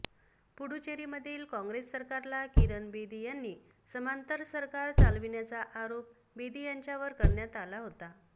पुडुचेरीमधील कॉंग्रेस सरकारला किरण बेदी यांनी समांतर सरकार चालविण्याचा आरोप बेदी यांच्यावर करण्यात आला होता